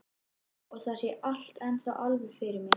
Ég sé þetta ennþá alveg fyrir mér.